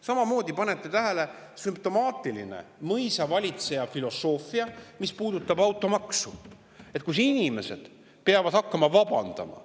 Samamoodi, panete tähele, on sümptomaatiline mõisavalitseja filosoofia, mis puudutab automaksu, mille puhul inimesed peavad hakkama vabandama.